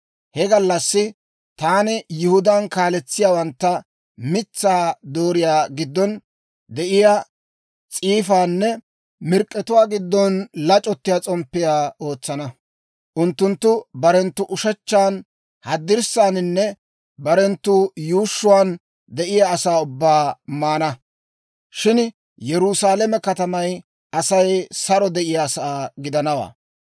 «He gallassi taani Yihudaan kaletsiyaawantta mitsaa dooriyaa giddon de'iyaa s'iifaanne mirk'k'etuwaa giddon lac'ottiyaa s'omppiyaa ootsana. Unttunttu barenttu ushechchan haddirssaaninne barenttu yuushshuwaan de'iyaa asaa ubbaa maana; shin Yerusaalame katamay Asay saro de'iyaasaa gidanawaa.